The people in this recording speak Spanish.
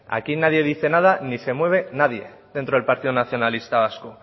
aquí nadie dice nada ni se mueve nadie dentro del partido nacionalista vasco